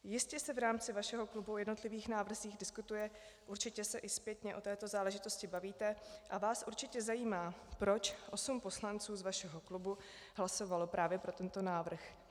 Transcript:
Jistě se v rámci vašeho klubu o jednotlivých návrzích diskutuje, určitě se i zpětně o této záležitosti bavíte a vás určitě zajímá, proč osm poslanců z vašeho klubu hlasovalo právě pro tento návrh.